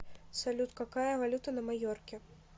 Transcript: салют какая валюта на майорке